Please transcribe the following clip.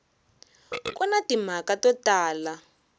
ku na timhaka to tala